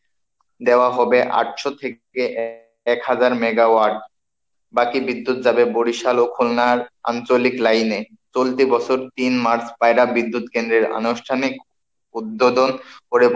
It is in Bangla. দেওয়া হবে আটশো থেকে এক হাজার megawatt বাকি বিদ্যুৎ যাবে বরিশাল ও খুলনার আঞ্চলিক লাইনে, চলতি বছর তিন march পায়রা বিদ্যুৎ কেন্দ্রের আনুষ্ঠানিক উদ্বোধন করে